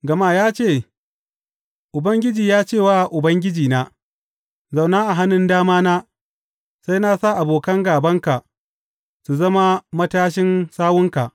Gama ya ce, Ubangiji ya ce wa Ubangijina, Zauna a hannun damana, sai na sa abokan gābanka su zama matashin sawunka.